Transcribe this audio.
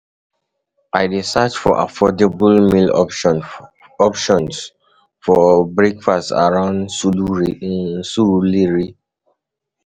I dey search for affordable meal options for breakfast around Surulere.